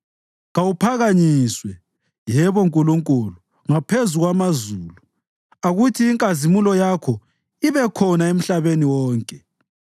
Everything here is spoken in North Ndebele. Kawuphakanyiswe, yebo Nkulunkulu, ngaphezu kwamazulu, akuthi inkazimulo yakho ibe khona emhlabeni wonke.